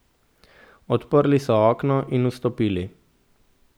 Odprli so okno in vstopili.